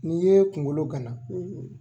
N'i ye kungolo gana.